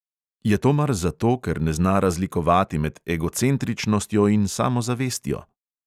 Je to mar zato, ker ne zna razlikovati med egocentričnostjo in samozavestjo?